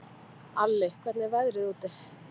Alli, hvernig er veðrið úti?